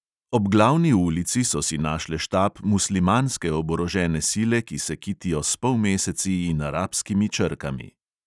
Ob glavni ulici so si našle štab muslimanske oborožene sile, ki se kitijo s polmeseci in arabskimi črkami.